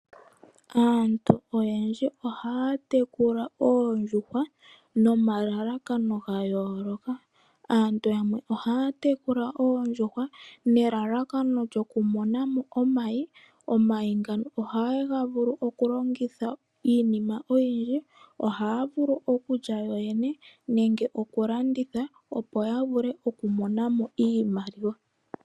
Aantu oyendji ohaya tekula oondjuhwa, nomalalakano gayooloka. Aantu yamwe ohaya tekula oondjuhwa, nelalakano lyokumona mo omayi. Omayi ngono ohaga vulu okulongithwa iinima oyindji. Ohaya vulu okulya, nenge okulanditha, opo yavule okumona mo iimaliwa.